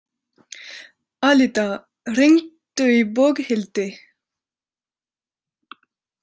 Alida, hringdu í Boghildi.